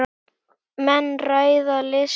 Menn ræða listir.